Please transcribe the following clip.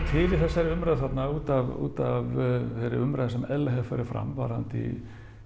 til í þessari umræðu þarna út af út af þeirru umræðu sem eðlilega hefur farið fram varðandi